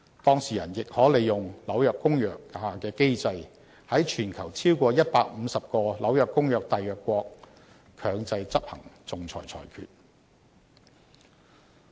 當事人亦可利用《紐約公約》下的機制，在全球超過150個《紐約公約》締約國強制執行仲裁裁決。